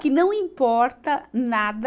Que não importa nada